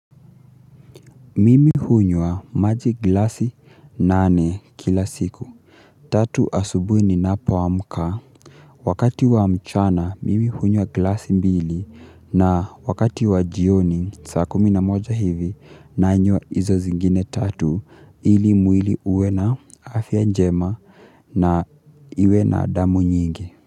Mimi hunywa maji glasi nane kila siku. Tatu asubuni ninapoamka. Wakati wa mchana, mimi hunywa glasi mbili. Na wakati wa jioni, saa kumi na moja hivi, nanywa izo zingine tatu ili mwili uwe na afya njema na iwe na damu nyingi.